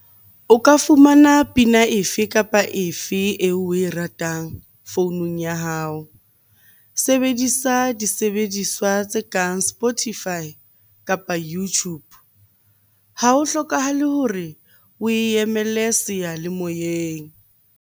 O ka fumana pina efe kapa efe eo oe ratang founung ya hao. Sebedisa disebediswa tse kang Spotify kapa YouTube. Ha ho hlokahale hore oe emele seyalemoyeng.